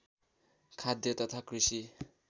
खाद्य तथा कृषि